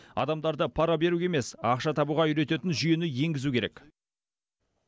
адамдарды пара беруге емес ақша табуға үйрететін жүйені енгізу керек